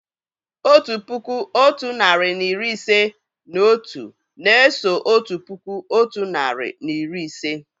Otu puku, otu narị na iri ise na otu na-eso otu puku otu nari na iri ise